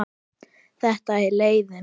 Þetta er leiðin.